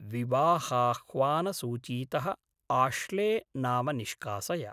विवाहाह्वानसूचीतः Ashley नाम निष्कासय।